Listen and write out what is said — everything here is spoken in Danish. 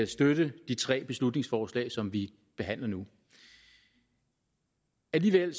støtte de tre beslutningsforslag som vi behandler nu alligevel